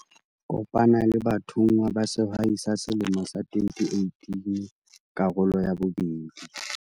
Kopana le bathonngwa ba Sehwai sa Selemo sa 2018, karolo ya 2.